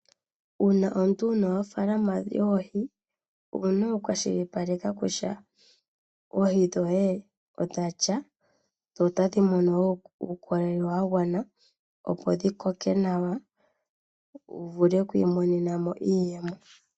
Uuna omuntu wu na ofaalama yoohi, owu na okukwashilipaleka kutya oohi dhoye odha lya dho otadhi mono wo uukolele wa gwana, opo dhi koke nawa wu vule oku imonena mo iiyemo.